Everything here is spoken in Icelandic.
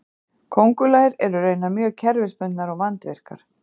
Köngulær eru raunar mjög kerfisbundnar og vandvirkar.